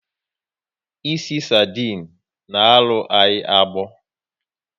Ịsị sardine na arụ ya agbọ